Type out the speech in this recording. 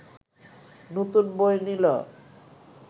নতুন বই নিল